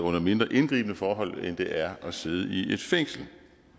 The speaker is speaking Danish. under mindre indgribende forhold end det er at sidde i et fængsel